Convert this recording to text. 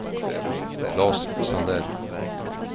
Klas Sandell